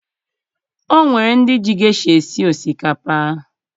O nwere ndị ji gesha esi osikapa